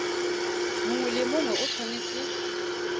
mongwe le mongwe o tshwanetse